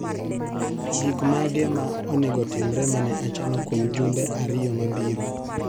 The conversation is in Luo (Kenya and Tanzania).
Gik mage ma onego otimre mane achano kwom jumbe ariyo mabiro?